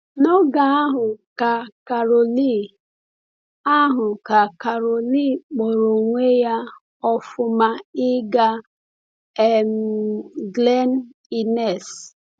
N’oge ahụ ka Coralie ahụ ka Coralie kpọrọ onwe ya ọ̀fụma ịga um Glen Innes.